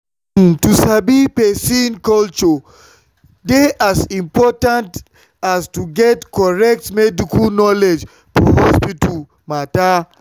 uhm to sabi person culture dey as important as to get correct medical knowledge for hospital matter.